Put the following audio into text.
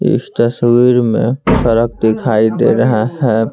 इस तस्वीर में दिखाई दे रहा है।